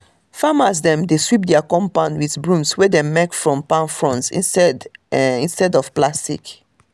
farmers dem dey sweep dia compound with broms wey dem make from palm fronds instead instead of plastic